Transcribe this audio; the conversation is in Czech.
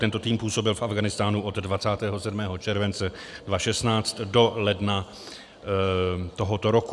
Tento tým působil v Afghánistánu od 27. července 2016 do ledna tohoto roku.